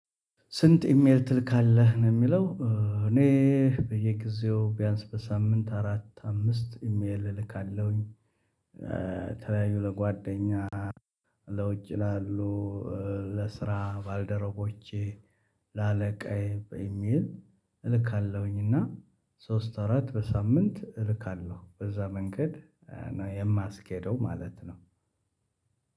ስንት ኢሜል ትልካለህ ነው የሚለው? እኔ በየጊዜው ቢያንስ በሳምንት አራት አምስት ኢሜል እልካለሁኝ። ለተለያዩ ለጓደኛ ለውጭ ላሉ ለስራ ባልደረቦቼ ለአለቃዬ በኢሜል እልካለሁኝ። እና ሶስት አራት በሳምንት እልካለሁ በዛ መንገድ ነው የማስኬደው ማለት ነው።